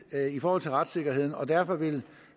i forhold til retssikkerheden og derfor vil